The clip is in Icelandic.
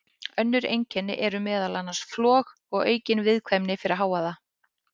Önnur einkenni eru meðal annars flog og aukin viðkvæmni fyrir hávaða.